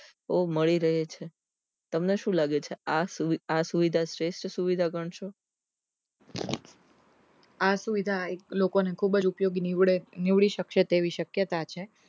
ઓ મળી રહે છે તમને શું લાગે છે આ સુ સુવિધા શ્રેષ્ઠ સુવિધા ગણશે આ સુવિધા એક લોકો ને ખુબજ ઉપયોગી નીવડે નીવડી શકશે તેવી શક્યતા છે